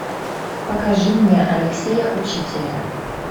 покажи мне алексея учителя